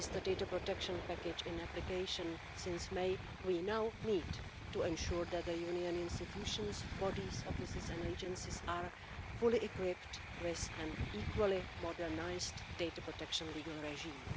With the data protection package in application since May, we now need to ensure that the Union institutions, bodies, offices and agencies are fully equipped with an equally modernised data protection legal regime.